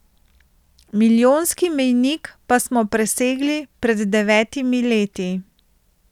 Milijonski mejnik pa smo presegli pred devetimi leti.